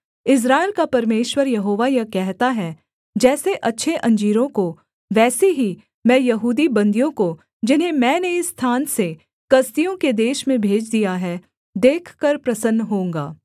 इस्राएल का परमेश्वर यहोवा यह कहता है जैसे अच्छे अंजीरों को वैसे ही मैं यहूदी बन्दियों को जिन्हें मैंने इस स्थान से कसदियों के देश में भेज दिया है देखकर प्रसन्न होऊँगा